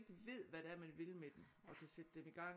Ved hvad det er man vil med dem og kan sætte dem i gang